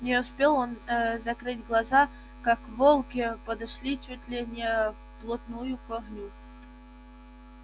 не успел он ээ закрыть глаза как волки подошли чуть ли не вплотную к огню